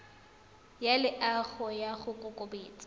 ya loago ya go kokobatsa